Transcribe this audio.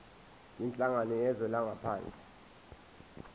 kwinhlangano yezwe langaphandle